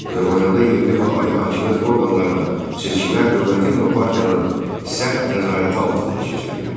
Azərbaycanda yerli və ali hakimiyyət orqanlarına seçkilər dövlətin və partiyanın sərt nəzarəti altında keçirilirdi.